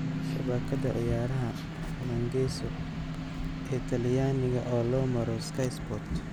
(Shabakada ciyaraha falangeso ee talyaniga oo loo maro Sky Sports).